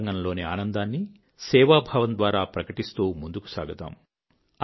అంతరంగం లోని ఆనందాన్ని సేవాభావం ద్వారా ప్రకటిస్తూ ముందుకు సాగుదాం